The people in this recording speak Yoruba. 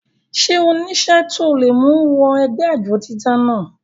ṣé ó nísẹ́ tó le mú u wọ ẹgbẹ́ àjọ dídá náà?